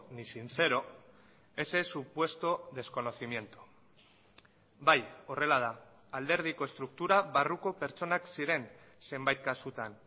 ni sincero ese supuesto desconocimiento bai horrela da alderdiko estruktura barruko pertsonak ziren zenbait kasutan